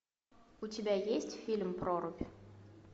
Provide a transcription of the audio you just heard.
у тебя есть фильм прорубь